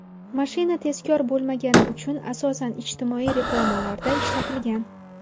Mashina tezkor bo‘lmagani uchun asosan ijtimoiy reklamalarda ishlatilgan.